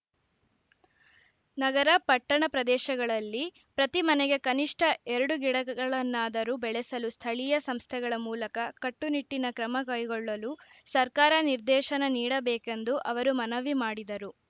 ನಗರ ಪಟ್ಟಣ ಪ್ರದೇಶಗಳಲ್ಲಿ ಪ್ರತಿ ಮನೆಗೆ ಕನಿಷ್ಟ ಎರಡು ಗಿಡಗಳನ್ನಾದರೂ ಬೆಳೆಸಲು ಸ್ಥಳೀಯ ಸಂಸ್ಥೆಗಳ ಮೂಲಕ ಕಟ್ಟನಿಟ್ಟಿನ ಕ್ರಮ ಕೈಗೊಳ್ಳಲು ಸರ್ಕಾರ ನಿರ್ದೇಶನ ನೀಡಬೇಕೆಂದು ಅವರು ಮನವಿ ಮಾಡಿದರು